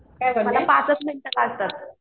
मला पाचच मिनिटं लागतात.